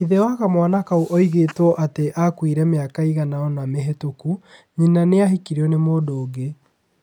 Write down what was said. Ithe wa kamwana kau oigĩtwo atĩ aakuire mĩaka iganona mĩhĩtũku. Nyina nĩ ahikirio nĩ mũndũ ũngĩ.